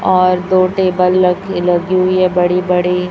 और दो टेबल लग लगी हुई है बड़ी बड़ी--